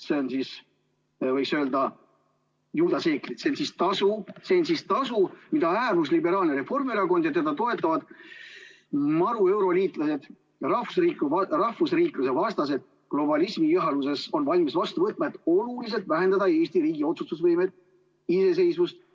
Need on siis, võiks öelda, juudaseeklid, see on siis tasu, mida äärmusliberaalne Reformierakond ja teda toetavad marueuroliitlased ja rahvusriikluse vastased globalismi ihaluses on valmis vastu võtma, et oluliselt vähendada Eesti riigi otsustusvõimet, iseseisvust.